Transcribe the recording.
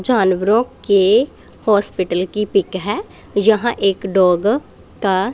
जानवरों के हॉस्पिटल की पिक है यहां एक डॉग का--